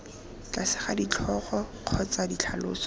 tlase ga ditlhogo kgotsa ditlhaloso